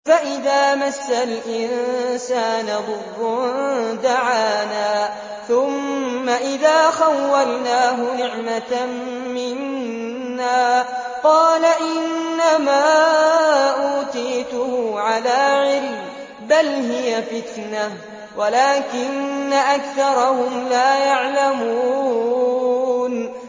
فَإِذَا مَسَّ الْإِنسَانَ ضُرٌّ دَعَانَا ثُمَّ إِذَا خَوَّلْنَاهُ نِعْمَةً مِّنَّا قَالَ إِنَّمَا أُوتِيتُهُ عَلَىٰ عِلْمٍ ۚ بَلْ هِيَ فِتْنَةٌ وَلَٰكِنَّ أَكْثَرَهُمْ لَا يَعْلَمُونَ